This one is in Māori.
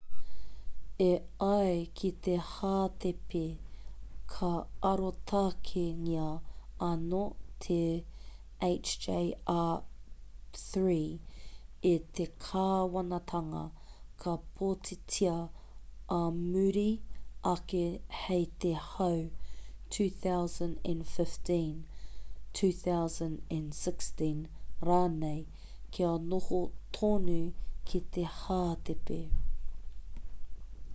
e ai ki te hātepe ka arotakengia anō te hjr-3 e te kāwanatanga ka pōtitia ā muri ake hei te tau 2015 2016 rānei kia noho tonu ki te hātepe